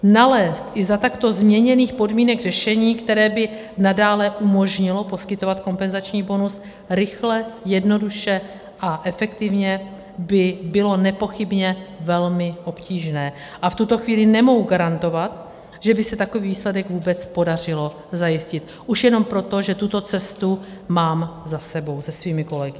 Nalézt i za takto změněných podmínek řešení, které by nadále umožnilo poskytovat kompenzační bonus rychle, jednoduše a efektivně, by bylo nepochybně velmi obtížné a v tuto chvíli nemohu garantovat, že by se takový výsledek vůbec podařilo zajistit, už jenom proto, že tuto cestu mám za sebou se svými kolegy.